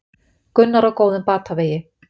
Gunnar á góðum batavegi